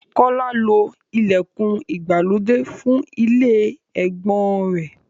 Kọ́lá lo ìlẹ̀kùn ìgbàlódé fún ilé ẹ̀gbọ́n-ọn rẹ̀.